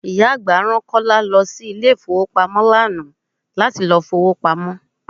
Ìyá àgbà rán Kọ́lá lọ sí ilé ifowopamo lánàá láti lọ fi owó pamó.